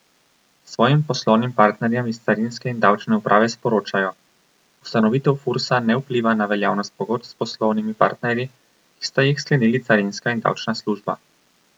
Svojim poslovnim partnerjem iz carinske in davčne uprave sporočajo: 'Ustanovitev Fursa ne vpliva na veljavnost pogodb s poslovnimi partnerji, ki sta jih sklenili carinska in davčna služba.